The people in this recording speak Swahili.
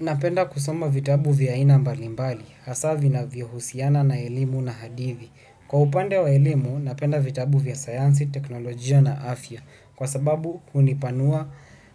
Napenda kusoma vitabu vya aina mbalimbali, hasa vinavyo husiana na elimu na hadithi. Kwa upande wa elimu, napenda vitabu vya sayansi, teknolojia na afya, kwa sababu hunipanua